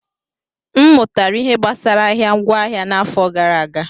M mụtara ihe gbasara ahịa ngwaahịa n'afọ gara aga.